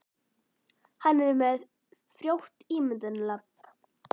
Hann er með frjótt ímyndunarafl.